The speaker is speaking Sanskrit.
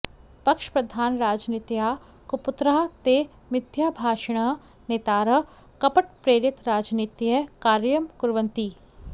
पक्षप्रधानराजनीत्याः कुपुत्राः ते मिथ्याभाषिणः नेतारः कपटप्रेरितराजनीत्यै कार्यं कुर्वन्ति